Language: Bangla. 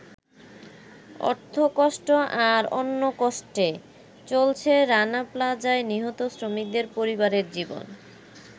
অর্থকষ্ট আর অন্নকষ্টে চলছে রানা প্লাজায় নিহত শ্রমিকদের পরিবারের জীবন।